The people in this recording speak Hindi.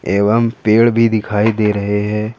एवं पेड़ भी दिखाई दे रहे हैं।